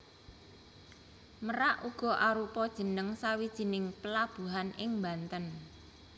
Merak uga arupa jeneng sawijining pelabuhan ing Banten